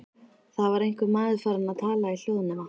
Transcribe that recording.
Það var einhver maður farinn að tala í hljóðnema.